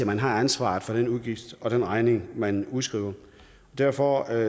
man har ansvaret for den udgift og den regning man udskriver derfor